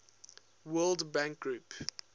world bank group